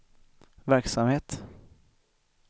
verksamhet